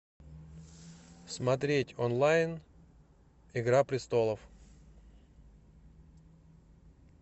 смотреть онлайн игра престолов